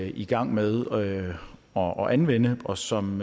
i gang med at anvende og anvende og som